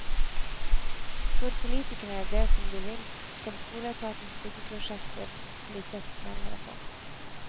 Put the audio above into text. Får politikerne det som de vil, skal skoleetatens byggeprosjekter bli sett nærmere på.